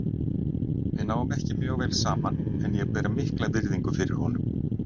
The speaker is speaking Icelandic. Við náum ekki mjög vel saman en ég ber mikla virðingu fyrir honum.